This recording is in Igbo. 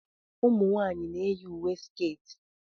ụmụ nwanyị na-eyi uwe sketi